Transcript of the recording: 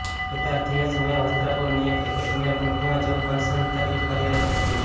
હિતાર્થી એ સમયે વસ્ત્રાપુરની એક રિક્રુટમેન્ટ કંપનીમાં જોબ કન્સલ્ટન્ટ તરીકે કાર્યરત હતી